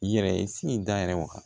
Yɛrɛ ye sin in dayɛlɛ wa